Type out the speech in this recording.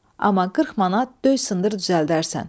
Amma 40 manat döy sındır düzəldərsən.